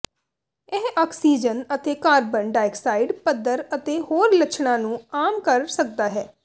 ਇਹ ਆਕਸੀਜਨ ਅਤੇ carbon dioxide ਪੱਧਰ ਅਤੇ ਹੋਰ ਲੱਛਣਾਂ ਨੂੰ ਆਮ ਕਰ ਸਕਦਾ ਹੈ